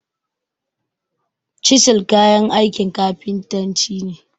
Cisil kayan aikin kafintanci ne.